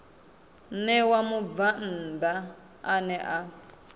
ṋewa mubvann ḓa ane a